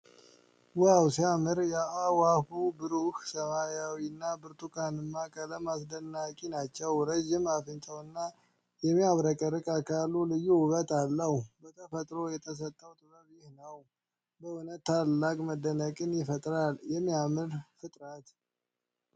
ዋው ሲያምር! የአእዋፉ ብሩህ ሰማያዊና ብርቱካንማ ቀለሞች አስደናቂ ናቸው። ረዥም አፍንጫውና የሚያብረቀርቅ አካሉ ልዩ ውበት አለው። በተፈጥሮ የተሰጠው ጥበብ ይህ ነው! በእውነት ታላቅ መደነቅን ይፈጥራል። የሚያምር ፍጥረት!